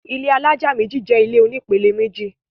ilé alájà méjì jẹ ilé oní pele méjì